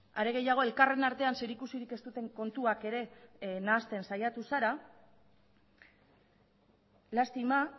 are gehiago elkarren artean zerikusirik ez duten kontuak ere nahasten saiatu zara lastima